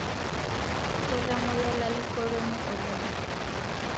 Ketomoyia lalikoroni oleng